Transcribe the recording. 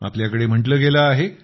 आपल्याकडे म्हटलं गेलं आहे